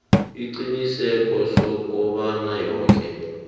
isiqiniseko sokobana woke